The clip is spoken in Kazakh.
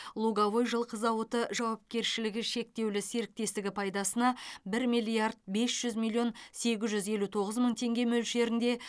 луговой жылқы зауыты жауапкершілі шектеулі серіктестігі пайдасына бір миллиард бес жүз миллион сегіз жүз елу тоғыз мың теңге мөлшерінде